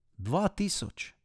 Dva tisoč?